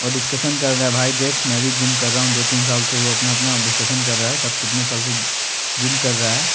और डिस्कसन कर रहे हैं भाई देख मैं भी जिम कर रहा हूँ दो तीन साल से वो अपना अपना डिस्कसन कर रहा है कब कितने साल से जिम कर रहा है।